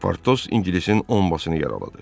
Portos ingilisin ombasını yaraladı.